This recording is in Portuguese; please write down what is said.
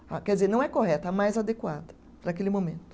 Quer dizer, não é correta, é a mais adequada para aquele momento.